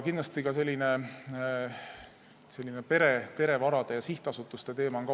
Kindlasti on oluline ka perevarade ja sihtasutuste teema.